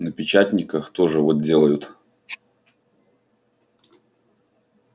на печатниках тоже вот делают